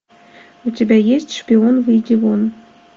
у тебя есть шпион выйди вон